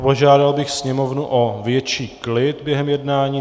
Požádal bych sněmovnu o větší klid během jednání.